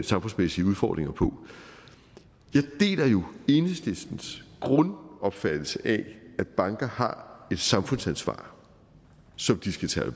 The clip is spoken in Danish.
samfundsmæssige udfordringer på jeg deler jo enhedslistens grundopfattelse af at banker har et samfundsansvar som de skal tage